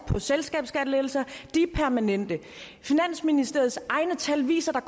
og selskabskattelettelser de er permanente finansministeriets egne tal viser at